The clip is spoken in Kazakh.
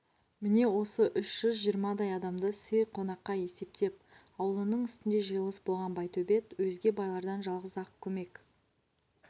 міне осы үш жүз жиырмадай адамды сый қонаққа есептеп аулының үстінде жиылыс болған байтөбет өзге байлардан жалғыз-ақ көмек